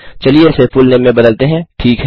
चलिए इसे फुलनेम में बदलते हैं